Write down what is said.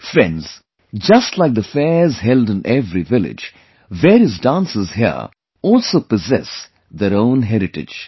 Friends, just like the fairs held in every village, various dances here also possess their own heritage